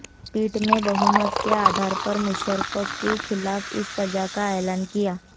पीठ ने बहुमत के आधार पर मुशर्रफ के खिलाफ इस सजा का ऐलान किया